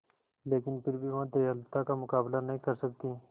लेकिन फिर भी वह दयालुता का मुकाबला नहीं कर सकती